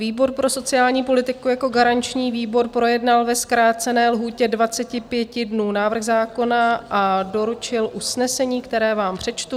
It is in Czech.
Výbor pro sociální politiku jako garanční výbor projednal ve zkrácené lhůtě 25 dnů návrh zákona a doručil usnesení, které vám přečtu.